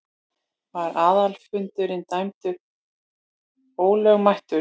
Var aðalfundurinn dæmdur ólögmætur.